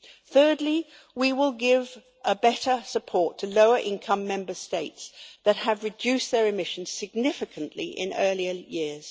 Thirdly, we will give better support to lower-income Member States that have reduced their emissions significantly in earlier years.